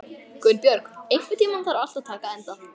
Gunnbjörg, einhvern tímann þarf allt að taka enda.